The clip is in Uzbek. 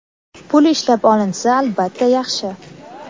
pul ishlab olinsa albatta, yaxshi.